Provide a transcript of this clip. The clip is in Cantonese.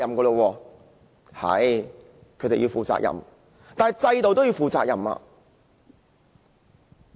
對，他們要負上責任，但制度同樣要負上責任。